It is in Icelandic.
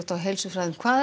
og heilsufræðum hvað